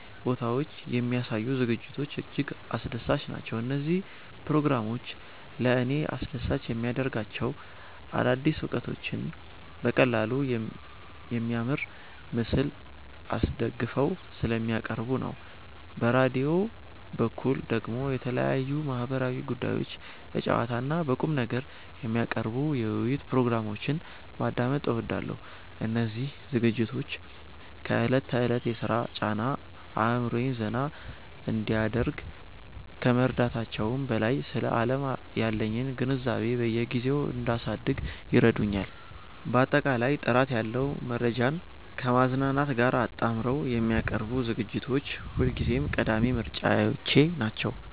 ቦታዎች የሚያሳዩ ዝግጅቶች እጅግ አስደሳች ናቸው። እነዚህ ፕሮግራሞች ለእኔ አስደሳች የሚያደርጋቸው አዳዲስ እውቀቶችን በቀላሉና በሚያምር ምስል አስደግፈው ስለሚያቀርቡ ነው። በራዲዮ በኩል ደግሞ የተለያዩ ማህበራዊ ጉዳዮችን በጨዋታና በቁምነገር የሚያቀርቡ የውይይት ፕሮግራሞችን ማዳመጥ እወዳለሁ። እነዚህ ዝግጅቶች ከዕለት ተዕለት የሥራ ጫና አእምሮዬን ዘና እንዲያደርግ ከመርዳታቸውም በላይ፣ ስለ ዓለም ያለኝን ግንዛቤ በየጊዜው እንዳሳድግ ይረዱኛል። ባጠቃላይ ጥራት ያለው መረጃን ከማዝናናት ጋር አጣምረው የሚያቀርቡ ዝግጅቶች ሁልጊዜም ቀዳሚ ምርጫዎቼ ናቸው።